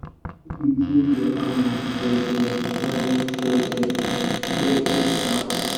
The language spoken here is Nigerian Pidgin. make u treat your animals jeje when jeje when heat da